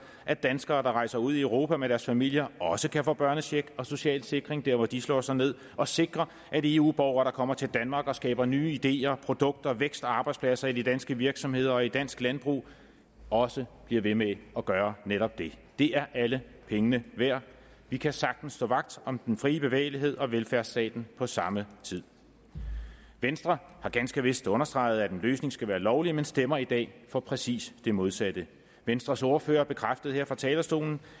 at danskere der rejser ud i europa med deres familier også kan få børnecheck og social sikring der hvor de slår sig ned og sikrer at eu borgere der kommer til danmark og skaber nye ideer produkter vækst og arbejdspladser i de danske virksomheder og i dansk landbrug også bliver ved med at gøre netop det det er alle pengene værd vi kan sagtens stå vagt om den frie bevægelighed og velfærdsstaten på samme tid venstre har ganske vist understreget at en løsning skal være lovlig men stemmer i dag for præcis det modsatte venstres ordfører bekræftede her fra talerstolen